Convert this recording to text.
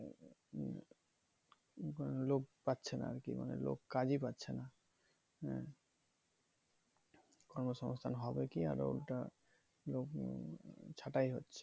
লোক পাচ্ছেনা আর কি মানে লোক কাজই পাচ্ছে না হ্যাঁ কর্ম সঙ্গস্থান হবে কি আর ওইটা লোক ছাটাই হচ্ছে